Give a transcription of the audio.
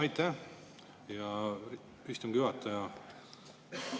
Aitäh, hea istungi juhataja!